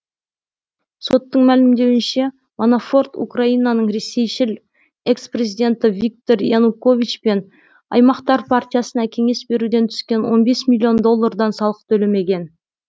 соттың мәлімдеуінше манафорт украинаның ресейшіл экс президенті виктор янукович пен аймақтар партиясына кеңес беруден түскен он бес миллион доллардан салық төлемеген